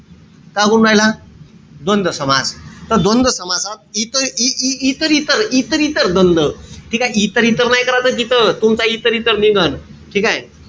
का करून राहिला. द्वंद्व समासात इ इ इतर इतर द्वंद्व ठीकेय? इतर-इतर नाई करायचं तिथं. तुमचा इतर-इतर निघण. ठीकेय?